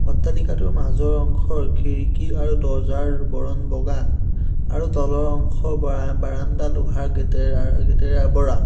অট্টালিকাটোৰ মাজৰ অংশৰ খিৰিকী আৰু দৰ্জাৰ বৰণ বগা আৰু তলৰ অংশ বা বাৰাণ্ডা লোহাৰ গেটেৰে অ গেটেৰে আৱৰা।